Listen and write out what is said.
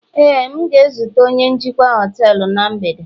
Éè, m ga-ezute onye njikwa họtelu na mgbede